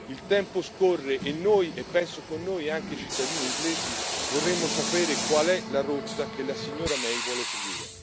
Il tempo scorre e noi e penso con noi anche i cittadini inglesi vorremmo sapere qual è la rotta che la signora May vuole seguire.